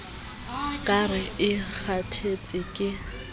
ka re e kgathetse ke